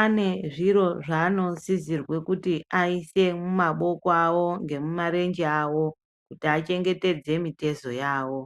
ane zviro zvaanosizirwe kuti aise mumaboko awo ngemumarenje awo, kuti achengetedze mitezo yawo.